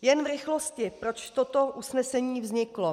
Jen v rychlosti, proč toto usnesení vzniklo.